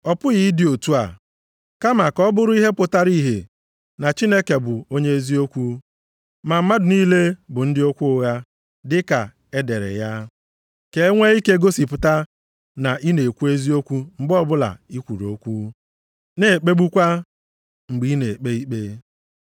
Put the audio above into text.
Ọ pụghị ịdị otu a! Kama ka ọ bụrụ ihe pụtara ihe na Chineke bụ onye eziokwu, ma mmadụ niile bụ ndị okwu ụgha, dịka e dere ya, “Ka e nwe ike gosipụta na ị na-ekwu eziokwu mgbe ọbụla i kwuru okwu, na ekpegbukwa mgbe i na-ekpe ikpe.” + 3:4 \+xt Abụ 51:4\+xt*